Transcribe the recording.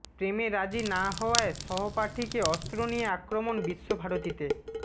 প্রেমে রাজি না হওয়ায় সহপাঠীকে অস্ত্র নিয়ে আক্রমণ বিশ্বভারতীতে